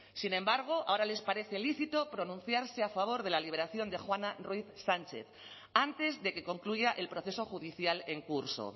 sin embargo ahora les parece lícito pronunciarse a favor de la liberación de juana ruiz sánchez antes de que concluya el proceso judicial en curso